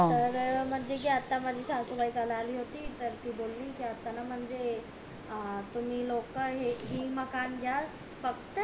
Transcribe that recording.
तर आता म्हणते कि माझी सासूबाई काल आली होती तर ती बोली जाताना म्हणजे अं तुम्ही लोक हे मकान घ्या फक्त